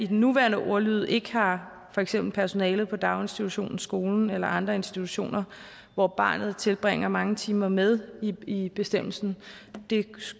den nuværende ordlyd ikke har for eksempel personalet på daginstitutionen skolen eller andre institutioner hvor barnet tilbringer mange timer med i bestemmelsen man